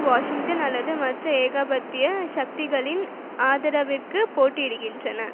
Washington அல்லது மற்ற ஏகாதிபத்திய சக்திகளின் ஆதரவிற்கு போட்டியிடுகின்றன